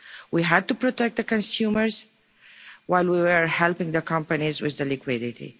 We had to protect the consumers while we were helping the companies with liquidity.